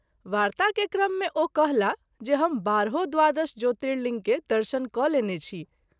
वार्ता के क्रम मे ओ कहला जे हम बारहो द्वादश ज्योतिर्लिंग के दर्शन क’ लेने छी।